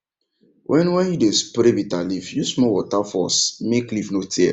when when you dey spray bitterleaf use small water force make leaf no tear